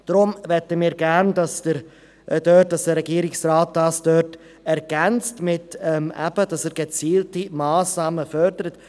Wir möchten deshalb, dass der Regierungsrat dies ergänzt und gezielte Massnahmen fördert.